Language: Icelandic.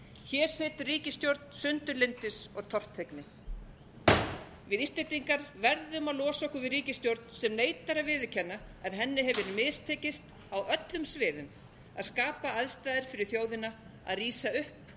hér situr ríkisstjórn sundurlyndis og tortryggni við íslendingar verðum að losa okkur við ríkisstjórn sem neitar að viðurkenna að henni hefur mistekist á öllum sviðum að skapa aðstæður fyrir þjóðina að rísa upp